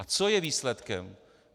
A co je výsledkem?